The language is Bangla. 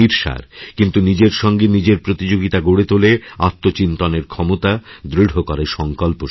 কিন্তু নিজের সঙ্গেনিজের প্রতিযোগিতা গড়ে তোলে আত্মচিন্তনের ক্ষমতা দৃঢ় করে সংকল্প শক্তি